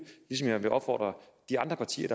ligesom jeg vil opfordre de andre partier